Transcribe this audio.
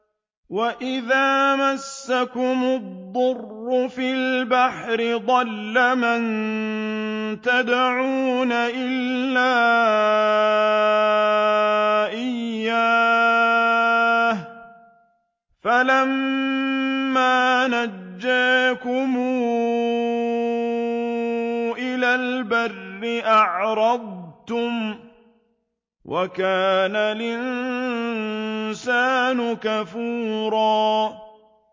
وَإِذَا مَسَّكُمُ الضُّرُّ فِي الْبَحْرِ ضَلَّ مَن تَدْعُونَ إِلَّا إِيَّاهُ ۖ فَلَمَّا نَجَّاكُمْ إِلَى الْبَرِّ أَعْرَضْتُمْ ۚ وَكَانَ الْإِنسَانُ كَفُورًا